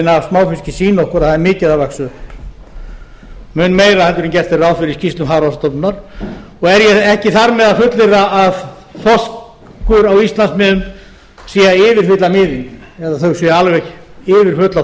af smáfiski sýna okkur að það er mikið að vaxa upp mun meira en gert er ráð fyrir í skýrslum hafrannsóknastofnunar og er ég ekki þar með að fullyrða að þorskur á íslandsmiðum sé að yfirfylla miðin eða að þau séu alveg yfirfull af